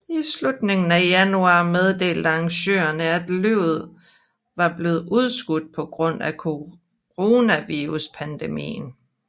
I slutningen af januar meddelte arrangørerne at løbet var blev udskudt på grund af coronaviruspandemien